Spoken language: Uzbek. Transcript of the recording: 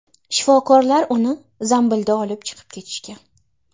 Shifokorlar uni zambilda olib chiqib ketishgan.